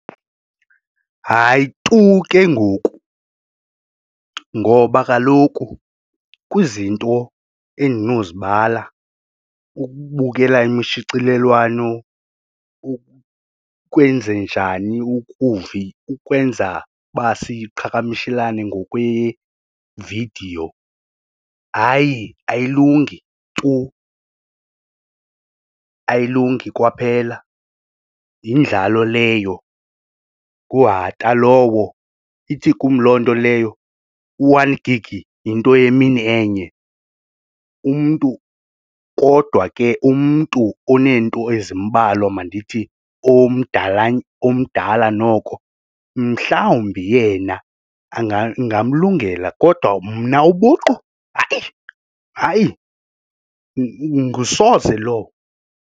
Hayi, tu ke ngoku ngoba kaloku kwizinto endinozibala ukubukela imishicilelwano ukwenze njani ukwenza uba siqhagamshelane ngokwe vidiyo hayi ayilungi tu, ayilungi kwaphela yindlalo leyo nguhata lowo, ithi kum loo nto leyo u-one gig yinto yemini enye umntu kodwa ke umntu oonento ezimbalwa mandithi omdala omdala noko mhlawumbi yena ingamlungela kodwa mna ubuqu hayi, hayi ngusoze lowo.